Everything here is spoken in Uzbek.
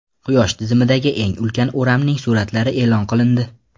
Quyosh tizimidagi eng ulkan o‘ramning suratlari e’lon qilindi.